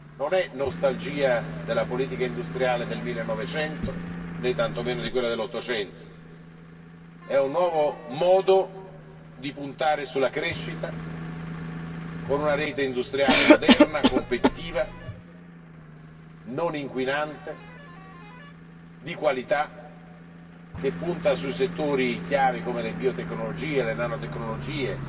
Non si tratta di nostalgia della politica industriale del 1900, né tantomeno di quella dell''800 si tratta di un nuovo modo di puntare sulla crescita con una rete industriale moderna, competitiva, non inquinante, di qualità, che punta su settori chiave come le biotecnologie, le nanotecnologie.